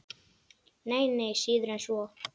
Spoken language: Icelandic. Nei, nei, síður en svo.